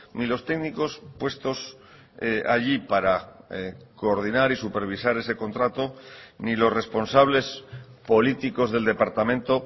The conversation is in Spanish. ni los técnicos puestos allí para coordinar y supervisar ese contrato ni los responsables políticos del departamento